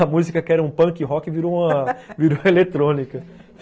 A música que era um punk rock virou uma eletrônica.